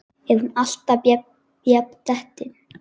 Er hún alltaf jafn dettin?